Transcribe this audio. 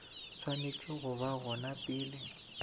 swanetše go ba gona pele